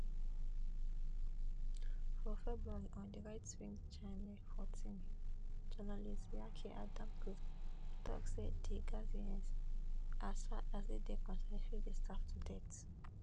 for february on di rightwing channel fourteen journalist yaki adamker tok say di gazians as far as e dey concern fit dey starve to death